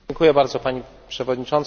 Pani Przewodnicząca!